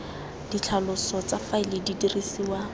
ditlhaloso tsa faele di dirisiwa